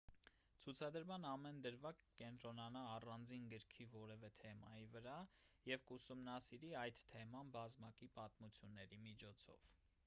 ցուցադրման ամեն դրվագ կկենտրոնանա առանձին գրքի որևէ թեմայի վրա և կուսումնասիրի այդ թեման բազմակի պատմությունների միջոցով